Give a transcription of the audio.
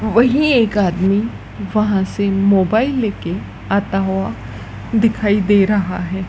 वही एक आदमी वहां से मोबाइल लेके आता हुआ दिखाई दे रहा है।